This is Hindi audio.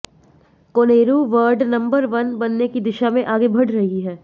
कोनेरू वर्ल्ड नंबर वन बनने की दिशा में आगे बढ़ रही हैं